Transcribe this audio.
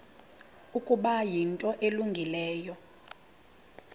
ukuba yinto elungileyo